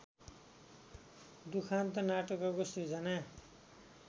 दुखान्त नाटकको सृजना